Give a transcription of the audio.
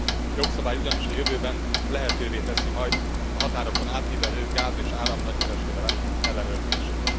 A jogszabály ugyanis a jövőben lehetővé teszi majd a határokon átívelő gáz és áram nagykereskedelem ellenőrzését.